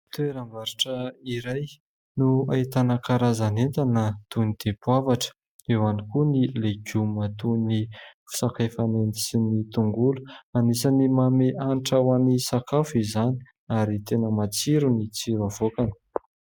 Toeram-barotra iray no ahitana karazan'entana toy ny dipoavatra eo ihany koa ny legioma toy ny sakay fanendy sy ny tongolo anisan'ny manome hanitra ho an'ny sakafo izany ary tena matsiro ny tsiro havoakany.